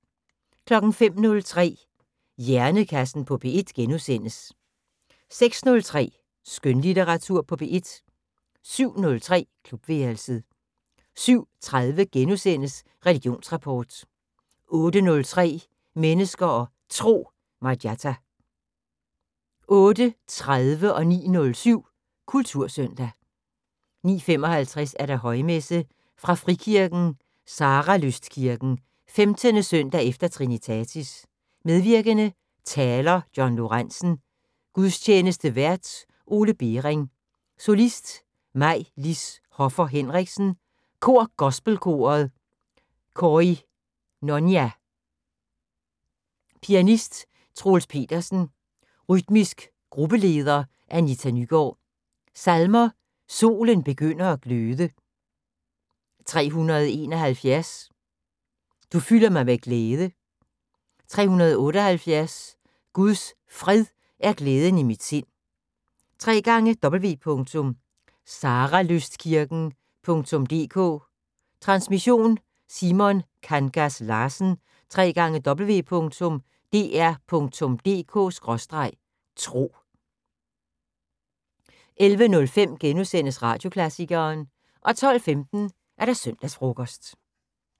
05:03: Hjernekassen på P1 * 06:03: Skønlitteratur på P1 07:03: Klubværelset 07:30: Religionsrapport * 08:03: Mennesker og Tro: Marjatta 08:30: Kultursøndag 09:07: Kultursøndag 09:55: Højmesse - Fra frikirken Saralystkirken. 15. søndag efter trinitatis. Medvirkende: Taler: John Lorenzen. Gudstjenestevært: Ole Bering. Solist: Maj-Lis Hoffer Henriksen. Kor: Gospelkoret KOINONIA. Pianist: Troels Petersen. Rytmisk gruppeleder: Anita Nygaard. Salmer: "Solen begynder at gløde". 371: " Du fylder mig med glæde". 678: " Guds Fred er glæden i mit sind". www.saralystkirken.dk Transmission: Simon Kangas Larsen. www.dr.dk/tro 11:05: Radioklassikeren * 12:15: Søndagsfrokosten